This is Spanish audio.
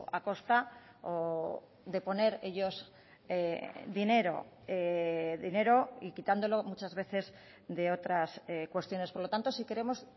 a costa o de poner ellos dinero dinero y quitándolo muchas veces de otras cuestiones por lo tanto sí queremos